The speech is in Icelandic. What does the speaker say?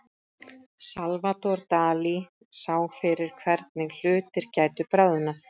Salvador Dali sá fyrir hvernig hlutir gætu bráðnað.